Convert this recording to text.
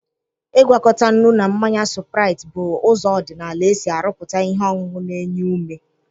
Ịgwakọta nnu na mmanya supraịt bụ ụzọ odinala esi aruputa ihe ọṅụṅụ na-enye ume.